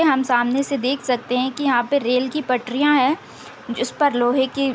हम सामने से देख सकते हैं कि यहाँ पे रेल की पटरियाँ हैं जिसपर लोहे की --